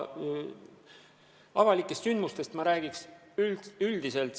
Avalikest sündmustest ma räägiks üldiselt.